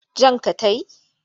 Jan ka ta yi?